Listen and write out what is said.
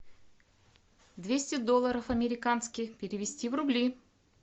двести долларов американских перевести в рубли